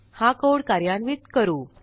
हा कोड कार्यान्वित करू